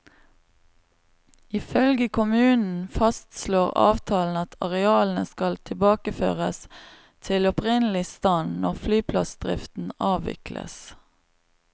Ifølge kommunen fastslår avtalen at arealene skal tilbakeføres til opprinnelig stand når flyplassdriften avvikles.